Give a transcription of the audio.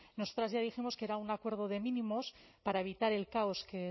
nosotras ya dijimos que era un acuerdo de mínimos para evitar el caos que